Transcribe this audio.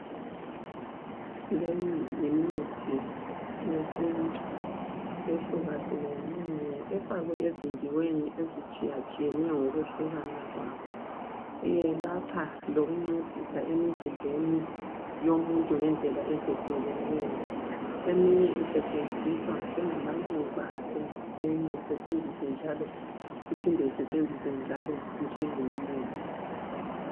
Leyi yimithi yesintu ehlukahlukeneyo efakwe ezindiweni ezitshiyatshiyeneyo ngokwehlukana kwayo. Yelapha lokuncedisa emzimbeni yomuntu ngendlela ezehlukeneyo. Eminye isetshenziswa njengamaluba enye iphinde isetshenziswe njalo njengomuthi.